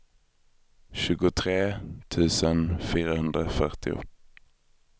tjugotre tusen fyrahundrafyrtio